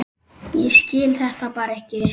Ég skil þetta bara ekki.